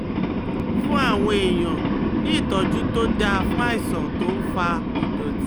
Fún àwọn èèyàn ní ìtọ́jú tó dáa fún àìsàn tó ń fa ìdọ̀tí